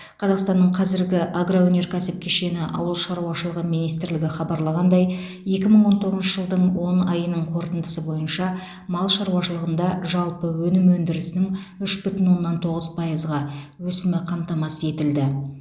қазақстанның қазіргі агроөнеркәсіп кешені ауыл шаруашылығы министрлігі хабарлағандай екі мың он тоғызыншы жылдың он айының қорытындысы бойынша мал шаруашылығында жалпы өнім өндірісінің үш бүтін оннан тоғыз пайызға өсімі қамтамасыз етілді